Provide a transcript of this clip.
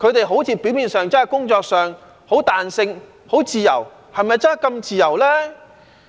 好像表面上，他們工作上很彈性、很自由，是否真的這麼自由呢？